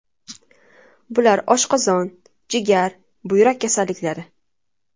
Bular oshqozon, jigar, buyrak kasalliklari.